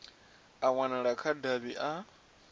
a wanala kha davhi a